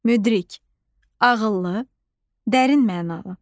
Müdrik: ağıllı, dərin mənalı.